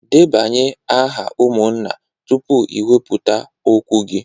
Debanye aha umunna tupu i weputa okwu gi